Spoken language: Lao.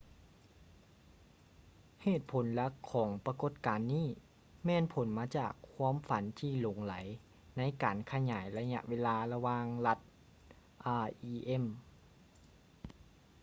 ເຫດຜົນຫຼັກຂອງປະກົດການນີ້ແມ່ນຜົນມາຈາກຄວາມຝັນທີ່ຫຼົງໄຫຼໃນການຂະຫຍາຍໄລຍະເວລາລະຫວ່າງລັດ rem